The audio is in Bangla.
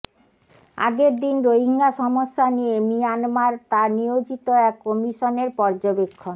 আগের দিন রোহিঙ্গা সমস্যা নিয়ে মিয়ানমার তার নিয়োজিত এক কমিশনের পর্যবেক্ষণ